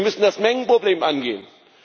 Sie müssen das Mengenproblem angehen!